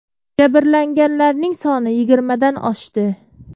Jabrlanganlarning soni yigirmadan oshdi.